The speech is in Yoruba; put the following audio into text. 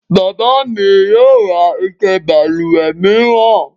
Bàbá mi yio ra ike balùwè mìíran